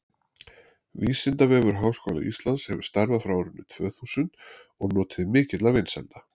vísindavefur háskóla íslands hefur starfað frá árinu tvö þúsund og notið mikilla vinsælda